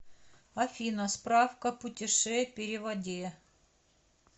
афина справка путеше переводе